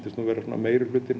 meiri hlutinn